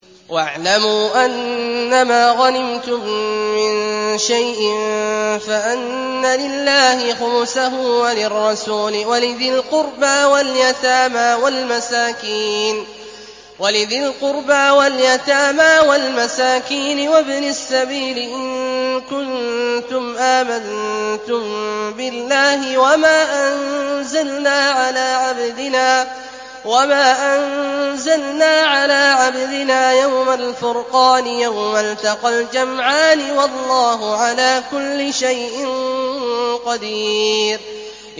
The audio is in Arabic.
۞ وَاعْلَمُوا أَنَّمَا غَنِمْتُم مِّن شَيْءٍ فَأَنَّ لِلَّهِ خُمُسَهُ وَلِلرَّسُولِ وَلِذِي الْقُرْبَىٰ وَالْيَتَامَىٰ وَالْمَسَاكِينِ وَابْنِ السَّبِيلِ إِن كُنتُمْ آمَنتُم بِاللَّهِ وَمَا أَنزَلْنَا عَلَىٰ عَبْدِنَا يَوْمَ الْفُرْقَانِ يَوْمَ الْتَقَى الْجَمْعَانِ ۗ وَاللَّهُ عَلَىٰ كُلِّ شَيْءٍ قَدِيرٌ